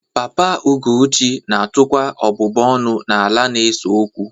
Papa Ugochi na-atụkwa ọbụbụ ọnụ n'ala a na-ese okwu